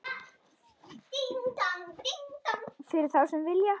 Fyrir þá sem vilja.